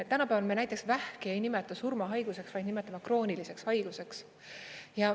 Tänapäeval me näiteks vähki ei nimeta surmahaiguseks, vaid nimetame krooniliseks haiguseks.